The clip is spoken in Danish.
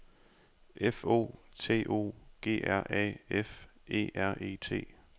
F O T O G R A F E R E T